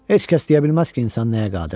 Heç kəs deyə bilməz ki, insan nəyə qadirdir.